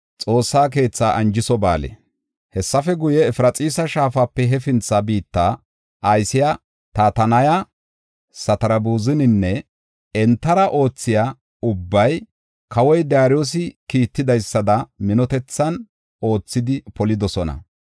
Hessafe guye, Efraxiisa Shaafape hefintha biitta aysiya Tatanaya, Satarbuzaninne entara oothiya ubbay kawoy Daariyosi kiittidaysada minotethan oothidi polidosona.